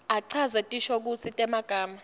achaze tinshokutsi temagama